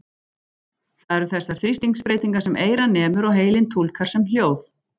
Það eru þessar þrýstingsbreytingar sem eyrað nemur og heilinn túlkar sem hljóð.